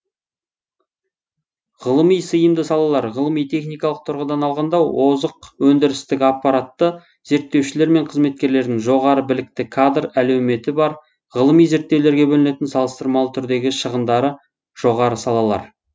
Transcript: ғылыми сыйымды салалар ғылыми техникалық тұрғыдан алғанда озық өндірістік аппараты зерттеушілер мен қызметкерлердің жоғары білікті кадр әлеуметі бар ғылыми зерттеулерге бөлінетін салыстырмалы түрдегі шығындары жоғары салалар